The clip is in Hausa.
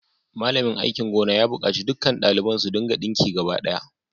Malamin aikin gona ya bukaci dukkan daliban su dinka dinki gaba daya